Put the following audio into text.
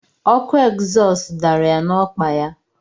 Ọkụ egzọs dara ya na-ọkpa ya.